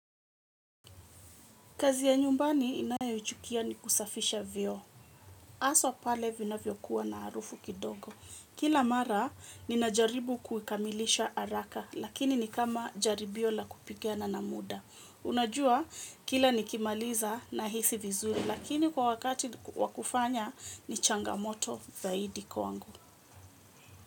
Kazi ya nyumbani inayo uchukia ni kusafisha vyo. Aswa pale vina vyokuwa na arufu kidogo. Kila mara, ninajaribu kuikamilisha araka, lakini ni kama jaribio la kupikiana na muda. Unajua, kila nikimaliza nahisi vizuri, lakini kwa wakati wa kufanya, ni changamoto zaidi kwawangu.